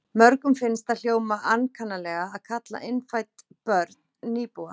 Mörgum finnst það hljóma ankannalega að kalla innfædd börn nýbúa.